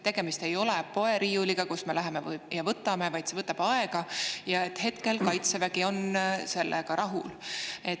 Tegemist ei ole poeriiuliga, kust me läheme ja võtame, vaid see võtab aega, ja hetkel on Kaitsevägi sellega rahul.